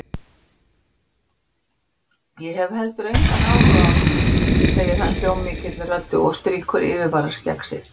Ég hef heldur engan áhuga á því, segir hann hljómmikilli röddu og strýkur yfirvaraskegg sitt.